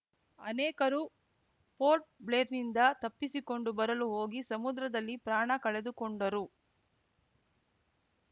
ಅನೇಕರು ಪೋರ್ಟ್‌ಬ್ಲೇರ್‌ನಿಂದ ತಪ್ಪಿಸಿಕೊಂಡು ಬರಲು ಹೋಗಿ ಸಮುದ್ರದಲ್ಲಿ ಪ್ರಾಣ ಕಳೆದುಕೊಂಡರು